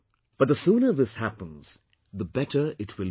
But the sooner this happens, the better it will be